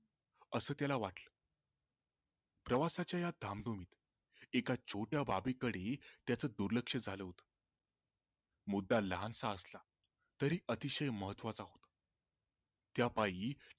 अस त्याला वाटलं प्रवासाच्या या धामधुमीत एका छोट्या बाबी कडे त्याच दुर्लक्ष झाले होते मुद्दा लहानसा असला तरी अतिशय महत्वाचा होता त्या पाई